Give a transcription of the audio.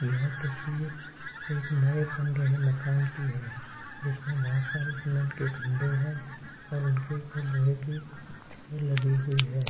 यह तस्वीर एक नये बन रहे मकान की है जिसमें बहुत सारे सीमेंट के खंभे हैं और उनके ऊपर लोहे की छड़ लगी हुई है।